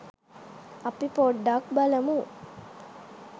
අපි පොඩ්ඩක් බලමු